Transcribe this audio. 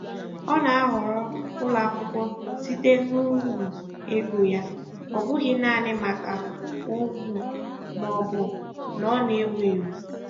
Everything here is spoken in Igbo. Ọ na-ahọrọ ụlọakwụkwọ site n'uru ego ya, ọ bụghị naanị maka ugwu maọbụ na ọ na-ewu ewu.